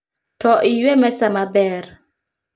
Too iywe mesa maber